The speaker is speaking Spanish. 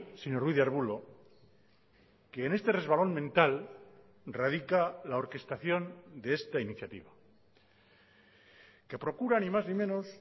señor ruiz de arbulo que en este resbalón mental radica la orquestación de esta iniciativa que procura ni más ni menos